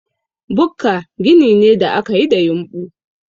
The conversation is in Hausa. Bukka gini ne da ake yi da yumɓu.